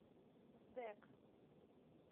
сдэк